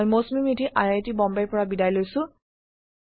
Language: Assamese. মই মৌচুমী মেধি বিদায় লৈছো